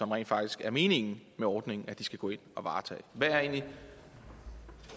rent faktisk er meningen med ordningen at de skal gå ind og varetage hvad er egentlig